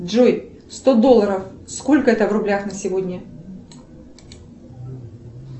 джой сто долларов сколько это в рублях на сегодня